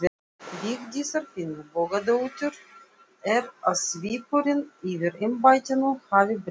Vigdísar Finnbogadóttur er að svipurinn yfir embættinu hafi breyst mjög.